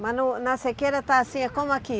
Mas no na sequeira está assim, é como aqui?